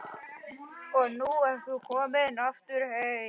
Og nú ertu komin aftur heim?